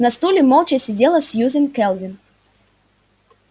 на стуле молча сидела сьюзен кэлвин